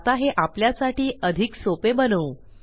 आता हे आपल्यासाठी अधिक सोपे बनवू